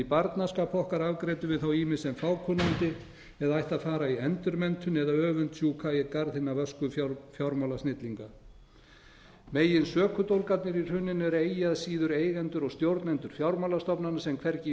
barnaskap okkar afgreiddum við þá ýmist sem fákunnandi eða ættu að fara í endurmenntun eða öfundsjúkir í garð hinna vösku fjármálasnillinga megin sökudólgarnir í hruninu eru eigi að síður eigendur og stjórnendur fjármálastofnana sem hvergi í